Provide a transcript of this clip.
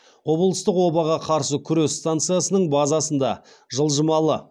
облыстық обаға қарсы күрес станциясының базасында жылжымалы